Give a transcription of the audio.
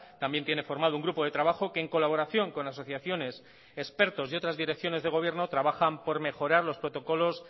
también tiene formado un grupo de trabajo que en colaboración con asociaciones expertos y otras direcciones de gobierno trabajan por mejorar los protocolos